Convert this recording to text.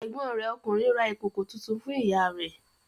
Ẹ̀gbọ́n rẹ̀ ọkùnrin ra ìkòkò tuntun fún ìyá rẹ̀.